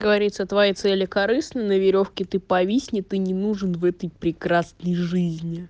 говорится твои цели корыстный на верёвке ты повиснет и не нужен в этой прекрасной жизни